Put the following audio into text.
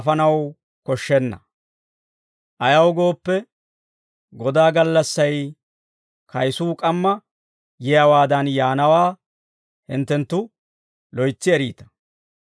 Ayaw gooppe, Godaa gallassay kayisuu k'amma yiyaawaadan yaanawaa hinttenttu loytsi eriita.